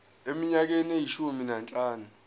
eminyakeni eyishumi nanhlanu